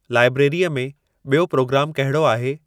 लैब्रेरीअ में ॿियो प्रोग्रामु कहिड़ो आहे